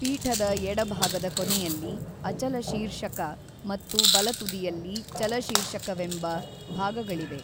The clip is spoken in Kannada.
ಪೀಠದ ಎಡಭಾಗದ ಕೊನೆಯಲ್ಲಿ ಅಚಲ ಶೀರ್ಷಕ ಮತ್ತು ಬಲತುದಿಯಲ್ಲಿ ಚಲಶೀರ್ಷಕವೆಂಬ ಭಾಗಗಳಿವೆ.